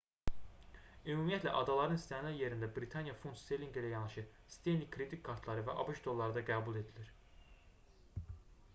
ümumiyyətlə adaların istənilən yerində britaniya funt sterlinqi ilə yanaşı stenli kredit kartları və abş dolları da qəbul edilir